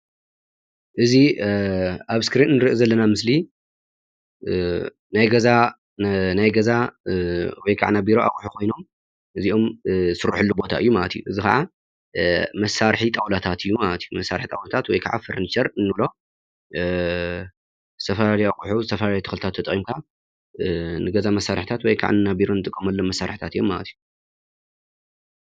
እዚ ኣብ እስክሪን ንርእዮ ዘለና ምስሊ ናይ ገዛ ወይከዓ ናይ ቢሮ ኣቁሑ ኮይኖም እዚኦም ዝስረሐሉ ቦታ እዩ ማለት እዩ። እዚ ከዓ መሳርሒ ጣውላታት እዩ ማለት እዩ መሳርሒ ጣውላታት ወይከዓ ፈርኒቸር እንብሎ ዝተፈላለዩ ኣቁሑ ዝተፈላለዩ ተክልታት ተጠቂምካ ንገዛ መሳርሕታት ወይከዓ ናብ ቢሮ እንጥቀመሎም መሳርሕታት እዮም ማለት እዩ።